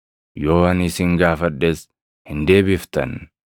yoo ani isin gaafadhes hin deebiftan.